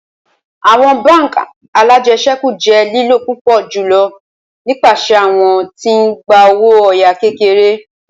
Awọn bánk alájẹsẹ́kù jẹ lilo pupọ julọ nipasẹ awọn ti n gba owo oya kekere